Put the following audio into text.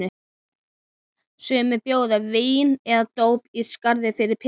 Sumir bjóða vín eða dóp í staðinn fyrir peninga.